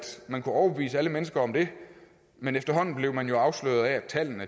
man kunne overbevise alle mennesker om det men efterhånden blev man jo afsløret af at tallene